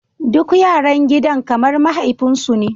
Duk yaran gidan kamar mahaifinsu ne.